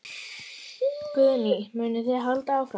Guðný: Munið þið halda áfram?